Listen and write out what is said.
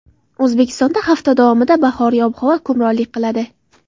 O‘zbekistonda hafta davomida bahoriy ob-havo hukmronlik qiladi.